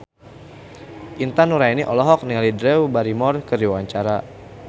Intan Nuraini olohok ningali Drew Barrymore keur diwawancara